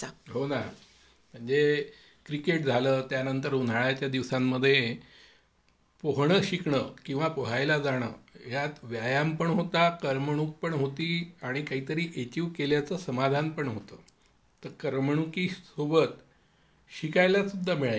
हो ना म्हणजे क्रिकेट झालं म्हणजे त्यानंतर उन्हाळ्याच्या दिवसांमध्ये पोहणे शिकण किंवा पोहायला जाणं यात व्यायाम पण होता, करमणूक पण होती आणि काही तरी अचीव्ह केल्याचं समाधान पण होतं. तर करमणुकीसोबत शिकायला सुद्धा मिळायचं.